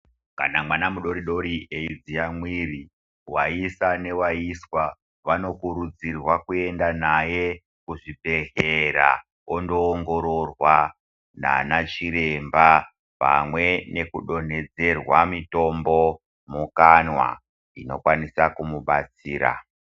Kana mwana mudori dori aidziya mwiri ,vaisa nevaiswa vanokurudzirwa kuenda naye kuzvibhedhlera kondoongororwa nana chiremba pamwe neku donhedzerwa mutombo mukanwa inokwanisa kumubatsira .